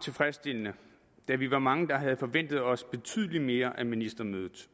tilfredsstillende da vi var mange der havde forventet os betydelig mere af ministermødet